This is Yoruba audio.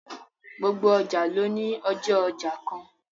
Gbogbo ọjà ló ní ọjọ́ ọjà kan